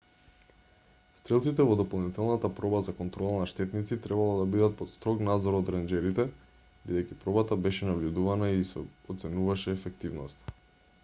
стрелците во дополнителната проба за контрола на штетници требало да бидат под строг надзор од ренџерите бидејќи пробата беше набљудувана и ѝ се оценуваше ефективноста